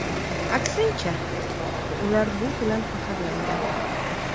Aksincha, ular bu bilan faxrlangan.